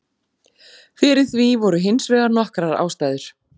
Fyrir því voru hins vegar nokkrar ástæður.